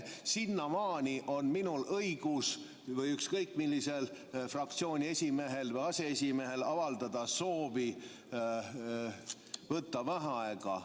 Sinnamaani on minul või ükskõik millisel fraktsiooni esimehel või aseesimehel õigus avaldada soovi võtta vaheaega.